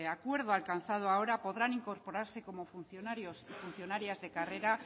acuerdo alcanzado ahora podrán incorporarse como funcionarios y funcionarias de carrera